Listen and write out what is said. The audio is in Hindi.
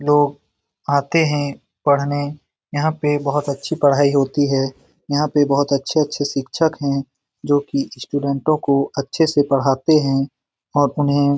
लोग आते हैं पढ़ने यहां पे बहुत अच्छी पढ़ाई होती है यहां पे बहुत अच्छे-अच्छे शिक्षक है जो की स्टूडेंटों को अच्छे से पढ़ते हैं और उन्हें --